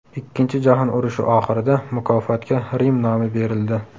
Ikkinchi jahon urushi oxirida mukofotga Rim nomi berildi.